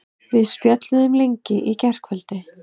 Við spjölluðum lengi í gærkvöldi.